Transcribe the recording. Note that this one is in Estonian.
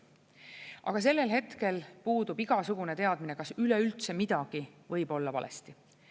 Aga sellel hetkel puudub igasugune teadmine, kas üleüldse midagi võib olla valesti.